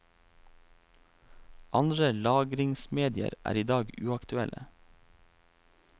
Andre lagringsmedier er i dag uaktuelle.